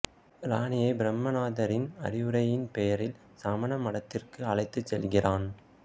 ராணியை பிரம்மானந்தரின் அறிவுரையின் பெயரில் சமண மடத்திற்கு அழைத்து செல்கிறான்